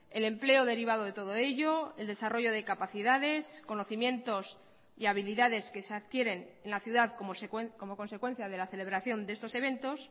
el empleo derivado de todo ello el desarrollo de capacidades conocimientos y habilidades que se adquieren en la ciudad como consecuencia de la celebración de estos eventos